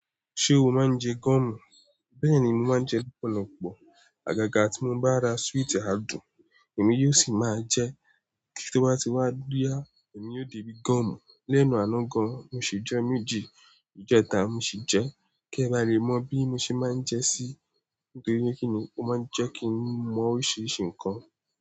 Ṣé o máa ń jẹ gúọ̀mù? Bẹ́ẹ̀ ni mo máa ń jẹ lọ́pọ̀lọpọ̀. Àgàgà tí mo bá ra súwìtì adùn, èmi yóò sì máa jẹ ẹ́, kí tó bá ti wá boya, èmi ó di bi gúọ̀mù. Lẹ́nu àná gan, mo sì jẹ méjì. Ìjẹta mo sì jẹ. Kí ẹ bá lè mọ̀ bí mo ṣe máa ń jẹ sí, ntorí ni kí ni o máa ń jẹ́ kí n mọ oríṣiríṣi nǹkan.